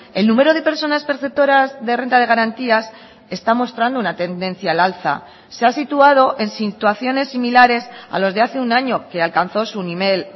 el número de personas perceptoras de renta de garantías está mostrando una tendencia al alza se ha situado en situaciones similares a los de hace un año que alcanzó su nivel